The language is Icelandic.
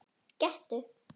Gettu